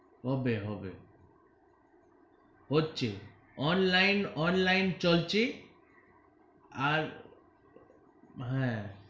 হবে হবে হচ্ছে online online চলছি আর হ্যা.